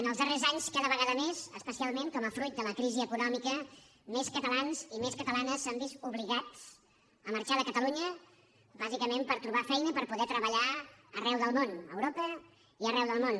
en els darrers anys cada vegada més especialment com a fruit de la crisi econòmica més catalans i més catalanes s’han vist obligats a marxar de catalunya bàsicament per trobar feina i per poder treballar arreu del món a europa i arreu del món